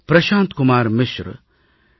Prashanth Kumar Mishra D